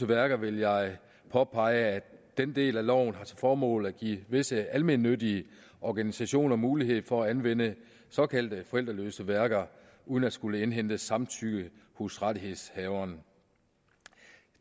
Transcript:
værker vil jeg påpege at den del af loven har til formål at give visse almennyttige organisationer mulighed for at anvende såkaldte forældreløse værker uden at skulle indhente samtykke hos rettighedshaveren